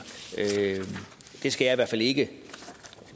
det skal jeg i hvert fald ikke